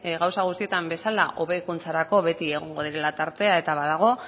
gauza guztietan bezala hobekuntzarako beti egongo dela tartea eta badago